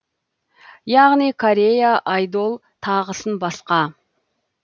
яғни корея айдол тағысын басқа